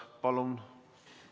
Palun!